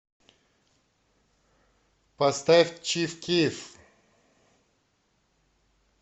поставь чиф киф